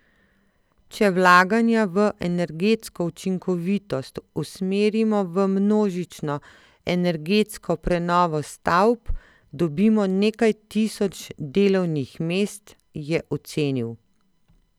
Če vlaganja v energetsko učinkovitost usmerimo v množično energetsko prenovo stavb, dobimo nekaj tisoč delovnih mest, je ocenil.